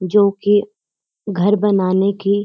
जो कि घर बनाने की --